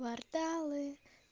кварталы